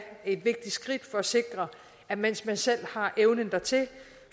et vigtigt skridt for at sikre at mens man selv har evnen dertil